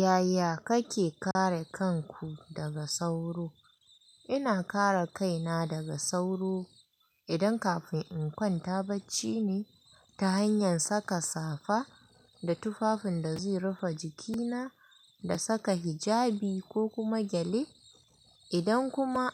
Yaya kake kare kanku daga sauro? Ina kare kaina daga sauro idan kafin in kwanta bacci ne ta hanyar saka safa da tufafin da zai rufe jikina da saka hijabi ko kuma gyale. Idan kuma